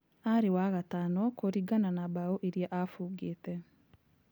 Arĩ wa gatano kũringana na mbao iria abũngĩte.